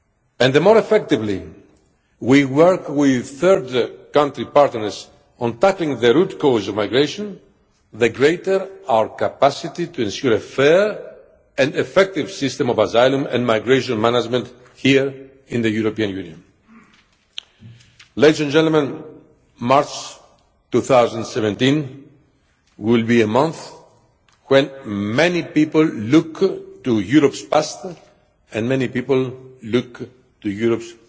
And the more effectively we work with third country partners on tackling the root causes of migration, the greater our capacity to ensure a fair and effective system of asylum and migration management here in the European Union. March 2017 will be a month when many people look to Europe's past, and many people look to Europe's